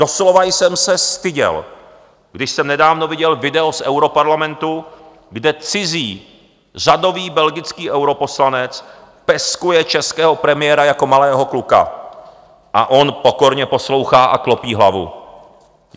Doslova jsem se styděl, když jsem nedávno viděl video z europarlamentu, kde cizí řadový belgický europoslanec peskuje českého premiéra jako malého kluka a on pokorně poslouchá a klopí hlavu.